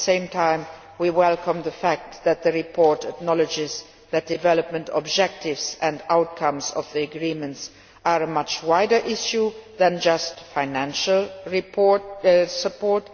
At the same time we welcome the fact that the report acknowledges that the development objectives and outcomes of the agreements are a much wider issue than just financial support.